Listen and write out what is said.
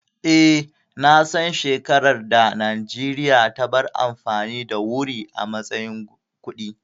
Eh, na san shekaran da Najeriya ta bar amfani da wuri a matsayin kuɗi